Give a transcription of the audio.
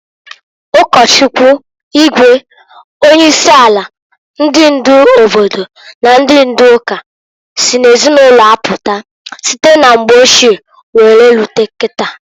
Ụkọchukwu, igwe, onye isi ala, ndị ndu obodo na ndị ndu ụka sị n'ezinụlọ apụta, site na mgbe ochie were rute kita.